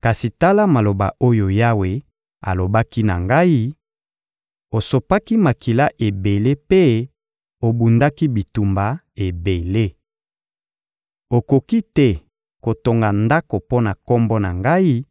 kasi tala maloba oyo Yawe alobaki na ngai: ‹Osopaki makila ebele mpe obundaki bitumba ebele. Okoki te kotonga ndako mpo na Kombo na Ngai;